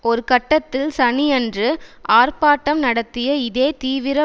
ஒரு கட்டத்தில் சனியன்று ஆர்ப்பாட்டம் நடத்திய இதே தீவிர